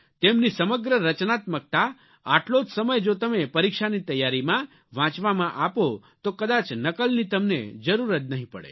તેમની સમગ્ર રચનાત્મકતા આટલો જ સમય જો તમે પરીક્ષાની તૈયારીમાં વાંચવામાં આપો તો કદાચ નકલની તમને જરૂર જ નહીં પડે